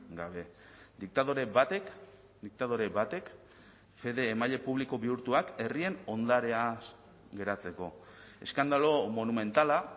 gabe diktadore batek diktadore batek fede emaile publiko bihurtuak herrien ondareaz geratzeko eskandalo monumentala